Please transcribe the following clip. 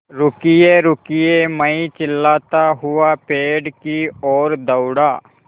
रुकिएरुकिए मैं चिल्लाता हुआ पेड़ की ओर दौड़ा